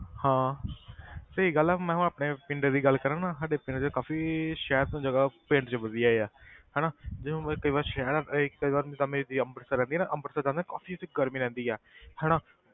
ਹਾਂ ਸਹੀ ਗੱਲ ਆ ਮੈਂ ਹੁਣ ਆਪਣੇ ਪਿੰਡ ਦੀ ਗੱਲ ਕਰਾਂ ਨਾ ਸਾਡੇ ਪਿੰਡ ਦੇ ਕਾਫ਼ੀ ਸ਼ਹਿਰ ਤੋਂ ਜ਼ਿਆਦਾ ਪਿੰਡ 'ਚ ਵਧੀਆ ਆ ਹਨਾ ਜੇ ਹੁਣ ਵੀ ਕਈ ਵਾਰ ਸ਼ਹਿਰ ਇਹ ਕਈ ਅੰਮ੍ਰਿਤਸਰ ਲੰਘੇ ਨਾ ਅੰਮ੍ਰਿਤਸਰ ਤਾਂ ਨਾ ਕਾਫ਼ੀ ਉੱਥੇ ਗਰਮੀ ਰਹਿੰਦੀ ਆ ਹਨਾ